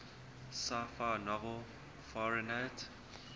sci fi novel fahrenheit